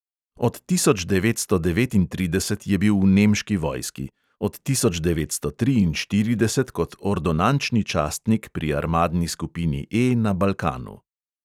Od tisoč devetsto devetintrideset je bil v nemški vojski, od tisoč devetsto triinštirideset kot ordonančni častnik pri armadni skupini E na balkanu.